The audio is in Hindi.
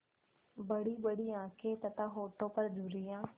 बड़ीबड़ी आँखें तथा होठों पर झुर्रियाँ